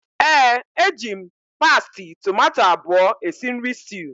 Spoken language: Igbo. ee, eji m pasti tomato abụọ esi nri stew